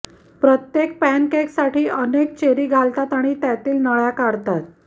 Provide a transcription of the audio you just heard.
प्रत्येक पॅनकेकसाठी अनेक चेरी घालतात आणि त्यातील नळ्या काढतात